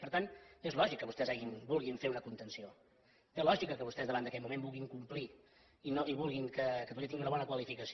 per tant és lògic que vostès vulguin fer una contenció té lògica que vostès davant d’aquest moment vulguin complir i vulguin que catalunya tingui una bona qualificació